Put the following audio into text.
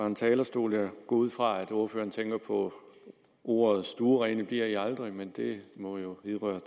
en talerstol jeg går ud fra at ordføreren tænker på ordene stuerene bliver i aldrig men det må jo vedrøre